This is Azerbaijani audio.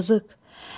Yazıq.